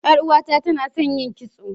Yar uwata tana son yin kisto.